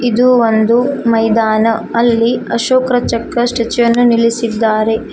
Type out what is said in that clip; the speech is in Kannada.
ಇದು ಒಂದು ಮೈದಾನ ಅಲ್ಲಿ ಅಶೋಕ ಚಕ್ರ ಸ್ಟ್ಯಾಚು ವನ್ನು ನಿಲ್ಲಿಸಿದ್ದಾರೆ.